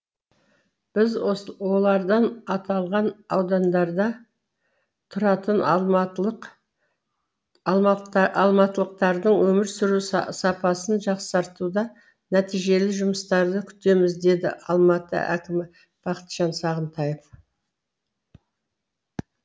біз олардан аталған аудандарда тұратын алматылық алматылықтардың өмір сүру сапасын жақсартуда нәтижелі жұмыстарды күтеміз деді алматы әкімі бақытжан сағынтаев